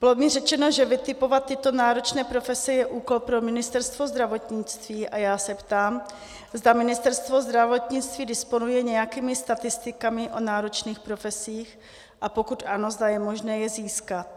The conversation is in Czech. Bylo mi řečeno, že vytipovat tyto náročné profese je úkol pro Ministerstvo zdravotnictví a já se ptám, zda Ministerstvo zdravotnictví disponuje nějakými statistikami o náročných profesích, a pokud ano, zda je možné je získat.